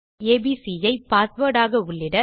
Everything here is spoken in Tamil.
இப்போது ஏபிசி ஐpassword ஆக உள்ளிட